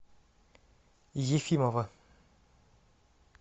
ефимова